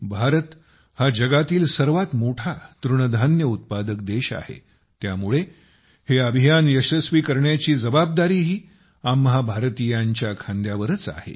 भारत हा जगातील सर्वात मोठा तृणधान्य उत्पादक देश आहे त्यामुळे हा उपक्रम हे अभियान यशस्वी करण्याची जबाबदारीही आम्हा भारतीयांच्या खांद्यावरच आहे